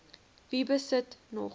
wie besit nog